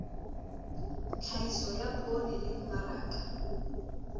tlhahiso ya poone le mmaraka